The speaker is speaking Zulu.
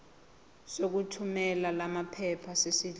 sokuthumela lamaphepha sesidlulile